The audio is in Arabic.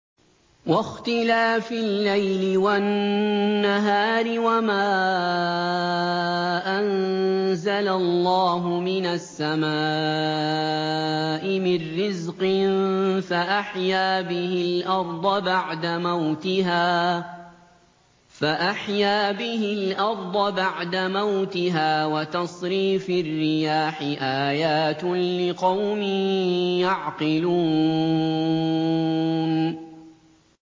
وَاخْتِلَافِ اللَّيْلِ وَالنَّهَارِ وَمَا أَنزَلَ اللَّهُ مِنَ السَّمَاءِ مِن رِّزْقٍ فَأَحْيَا بِهِ الْأَرْضَ بَعْدَ مَوْتِهَا وَتَصْرِيفِ الرِّيَاحِ آيَاتٌ لِّقَوْمٍ يَعْقِلُونَ